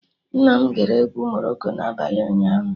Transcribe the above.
Nna m gere egwu Morocco na abalị ụnyaahụ